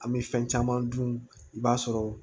An bɛ fɛn caman dun i b'a sɔrɔ